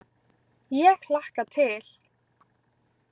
Ég hlakka til.